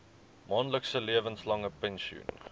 maandelikse lewenslange pensioen